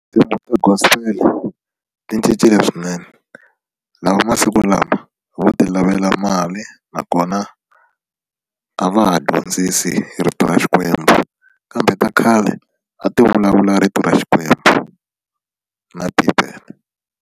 Tinsimu ta Gospel ti cincile swinene lava masiku lama vo ti lavela mali nakona a va ha dyondzisi rito ra Xikwembu kambe ta khale a ti vulavula rito ra Xikwembu na Bibele.